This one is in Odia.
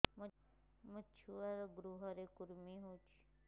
ମୋ ଛୁଆର୍ ଗୁହରେ କୁର୍ମି ହଉଚି